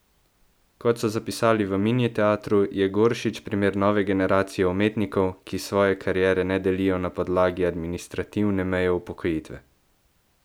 Kot so zapisali v Mini teatru, je Goršič primer nove generacije umetnikov, ki svoje kariere ne delijo na podlagi administrativne meje upokojitve.